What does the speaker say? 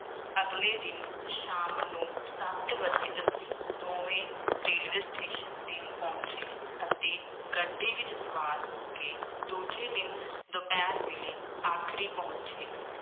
ਅਗਲੇ ਦਿਨ ਸ਼ਾਮ ਨੂੰ ਸੱਤ ਵਜੇ ਅਸੀਂ ਦੋਵੇਂ ਰੇਲਵੇ ਸਟੇਸ਼ਨ ਤੇ ਪਹੁੰਚੇ ਅਤੇ ਗੱਡੀ ਵਿੱਚ ਸਵਾਰ ਹੋ ਕੇ ਦੂਜੇ ਦਿਨ ਦੁਪਹਿਰ ਵੇਲੇ ਆਗਰੇ ਪਹੁੰਚੇ।